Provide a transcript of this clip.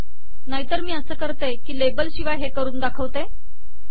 नाही तर मी असा करते की लेबल शिवाय हे करून दाखवते